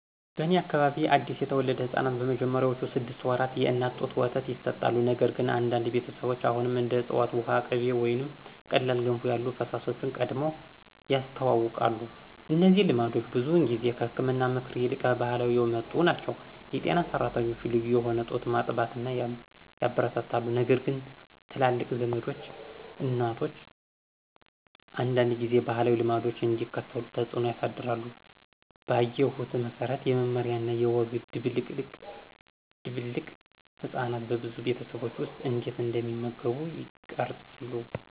በእኔ አካባቢ አዲስ የተወለዱ ሕፃናት በመጀመሪያዎቹ ስድስት ወራት የእናት ጡት ወተት ይሰጣሉ፣ ነገር ግን አንዳንድ ቤተሰቦች አሁንም እንደ ዕፅዋት ውሃ፣ ቅቤ ወይም ቀላል ገንፎ ያሉ ፈሳሾችን ቀድመው ያስተዋውቃሉ። እነዚህ ልምዶች ብዙውን ጊዜ ከህክምና ምክር ይልቅ ከባህላዊ የመጡ ናቸው. የጤና ሰራተኞች ልዩ የሆነ ጡት ማጥባትን ያበረታታሉ ነገርግን ትላልቅ ዘመዶች እናቶች አንዳንድ ጊዜ ባህላዊ ልምዶችን እንዲከተሉ ተጽዕኖ ያሳድራሉ. ባየሁት መሰረት፣ የመመሪያ እና የወግ ድብልቅ ህጻናት በብዙ ቤተሰቦች ውስጥ እንዴት እንደሚመገቡ ይቀርጻሉ።